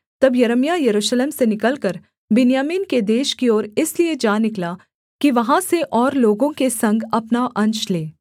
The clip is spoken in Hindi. तब यिर्मयाह यरूशलेम से निकलकर बिन्यामीन के देश की ओर इसलिए जा निकला कि वहाँ से और लोगों के संग अपना अंश ले